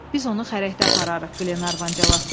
Biz onu xərəkdə apararıq, Qlenarvan cavab verdi.